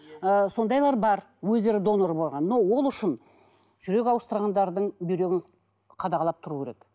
ы сондайлар бар өздері донор болған но ол үшін жүрек ауыстырғандардың бүйрегін қадағалап тұру керек